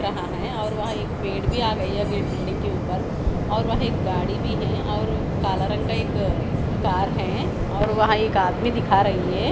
यहाँ है और वहा एक पेड़ भी आगयी है बिल्डिंग के ऊपर और वहा एक गाड़ी भी है और कला रंग का एक कार है और वहा एक आदमी दिखा रही है।